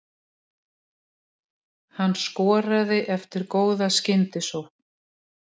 Hann skoraði eftir góða skyndisókn.